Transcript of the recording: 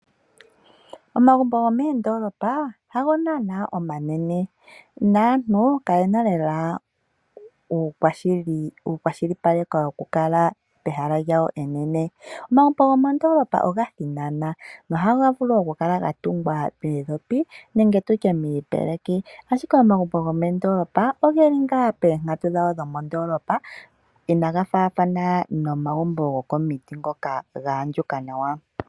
Omagumbo gomoondoolopa hago naana omanene naantu kayena lela uukwashilipaleko woku kala pehala lyawo enene. Omagumbo gomoondoolopa oga thinana nohaga vulu oku kala ga tungwa moondhopi nenge tutye miipeleki, ashike omagumbo gomoondoolopa ogeli ngaa poonkatu dhawo dhomoondoolopa inaga faathana naangoka gokomagumbo gomiti ngoka ga andjuka nawa.